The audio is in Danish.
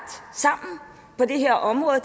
sammen på det her område